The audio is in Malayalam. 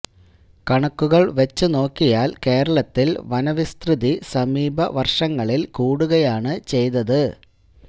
കണക്കുകള് വച്ച് നോക്കിയാല് കേരളത്തില് വനവിസ്തൃതി സമീപ വര്ഷങ്ങളില് കൂടുകയാണ് ചെയ്തത്